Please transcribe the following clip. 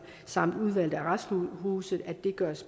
samt udvalgte arresthuse